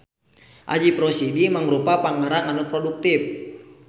Ajip Rosidi mangrupa pangarang anu produktif.